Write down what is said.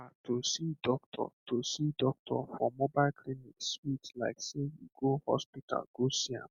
um to see doctor to see doctor for mobile clinic sweet like sey you go hospital go see am